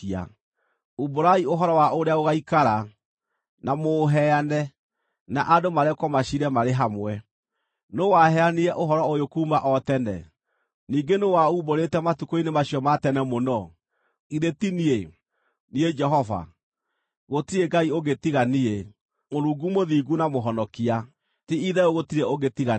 Umbũrai ũhoro wa ũrĩa gũgaikara, na mũũheane, na andũ marekwo maciire marĩ hamwe. Nũũ waheanire ũhoro ũyũ kuuma o tene? Ningĩ nũũ waumbũrĩte matukũ-inĩ macio ma tene mũno? Githĩ ti niĩ, niĩ Jehova? Gũtirĩ Ngai ũngĩ tiga niĩ, Mũrungu mũthingu na Mũhonokia; ti-itherũ gũtirĩ ũngĩ tiga niĩ.